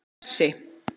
Bessi